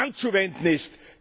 anzuwenden ist.